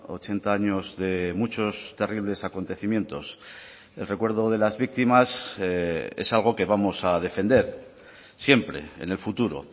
ochenta años de muchos terribles acontecimientos el recuerdo de las víctimas es algo que vamos a defender siempre en el futuro